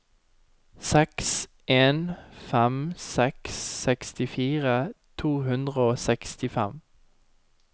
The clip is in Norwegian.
seks en fem seks sekstifire to hundre og sekstifem